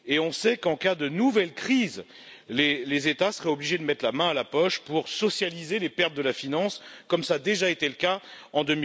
On sait qu'en cas de nouvelle crise, les États seraient obligés de mettre la main à la poche pour socialiser les pertes de la finance, comme cela a déjà été le cas en